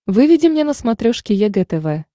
выведи мне на смотрешке егэ тв